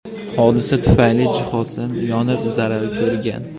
Hodisa tufayli jihozlar yonib zarar ko‘rgan.